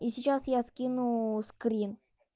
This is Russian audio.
и сейчас я скину скриншот